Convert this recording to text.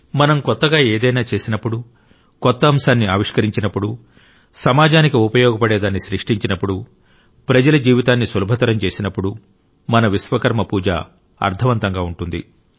మనం కొత్తగా ఏదైనా చేసినప్పుడు కొత్త అంశాన్ని ఆవిష్కరించినప్పుడు సమాజానికి ఉపయోగపడేదాన్ని సృష్టించినప్పుడు ప్రజల జీవితాన్ని సులభతరం చేసినప్పుడు మన విశ్వకర్మ పూజ అర్థవంతంగా ఉంటుంది